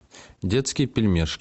детские пельмешки